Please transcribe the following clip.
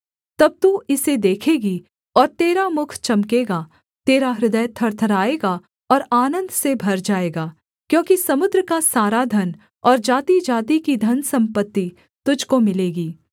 तब तू इसे देखेगी और तेरा मुख चमकेगा तेरा हृदय थरथराएगा और आनन्द से भर जाएगा क्योंकि समुद्र का सारा धन और जातिजाति की धनसम्पत्ति तुझको मिलेगी